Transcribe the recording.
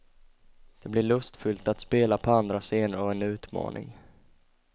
Det blir lustfyllt att spela på andra scener och en utmaning.